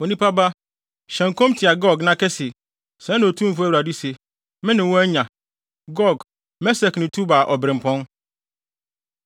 “Onipa ba, hyɛ nkɔm tia Gog na ka se: ‘Sɛɛ na Otumfo Awurade se: Me ne wo anya. Gog, Mesek ne Tubal obirɛmpɔn.